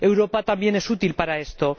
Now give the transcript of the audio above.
Europa también es útil para esto.